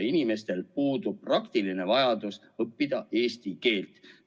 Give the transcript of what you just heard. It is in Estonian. Inimestel puudub praktiline vajadus õppida eesti keelt.